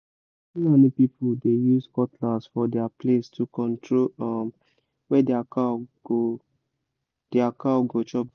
fulani people dey use cutlass for their place to control where their cow go their cow go chop grass